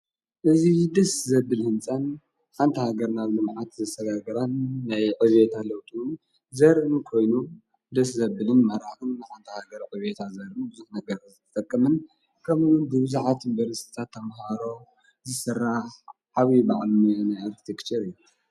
እዙይ ድስ ዘብል ሕንጸን ሓንታሃገር ናብ ሉ መዓት ዘሠረግራን ናይ ኦቤታ ለውጡ ዘርን ኮይኑ ድስ ዘብልን መራቕን ኣንታ ሃገር ኦቤታ ዘርሚ ብዙኅ ነገር ዘተተቅምን ከምኡን ዲብዙኃት እምበር ስጻ ተምሃሮ ዝሠራ ዓዊዪ ብዕሉሚ ናይ ኣርቲትኽትር እየ።